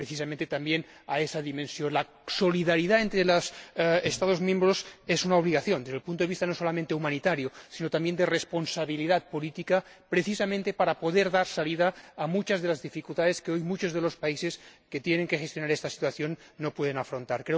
Precisamente también respecto de esa dimensión, la solidaridad entre los Estados miembros es una obligación, desde el punto de vista no solamente humanitario sino también de responsabilidad política, precisamente para poder superar muchas de las dificultades que hoy muchos de los países que tienen que gestionar esta situación no pueden afrontar.